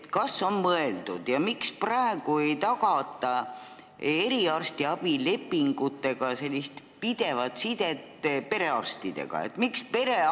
Kas on mõeldud sellele, miks ei ole praegu eriarstiabi lepingutega tagatud pidev side perearstidega?